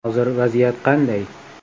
Hozir vaziyat qanday?